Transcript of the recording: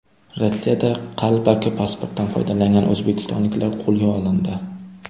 Rossiyada qalbaki pasportdan foydalangan o‘zbekistonliklar qo‘lga olindi.